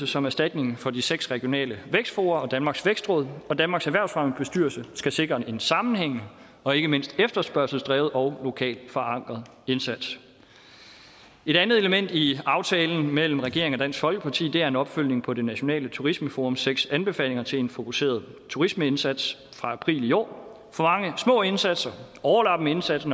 som erstatning for de seks regionale vækstfora og danmarks vækstråd og danmarks erhvervsfremmebestyrelse skal sikre en sammenhængende og ikke mindst efterspørgselsdrevet og lokalt forankret indsats et andet element i aftalen mellem regeringen og dansk folkeparti er en opfølgning på det nationale turismeforums seks anbefalinger til en fokuseret turismeindsats fra april i år for mange små indsatser overlappende indsatser